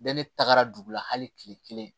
Bɛɛ ne tagara dugu la hali kile kelen